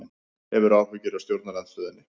Hefur áhyggjur af stjórnarandstöðunni